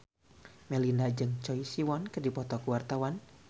Melinda jeung Choi Siwon keur dipoto ku wartawan